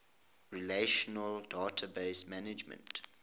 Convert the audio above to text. relational database management